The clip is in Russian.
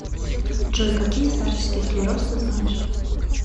джой какие старческий склероз ты знаешь